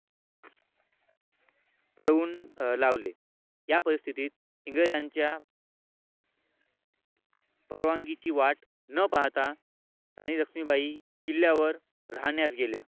पळवून लावले या परिस्थितीत इंग्रजांच्या परवानगीची वाट न पाहता राणी लक्ष्मीबाई किल्ल्यावर राहण्यास गेल्या.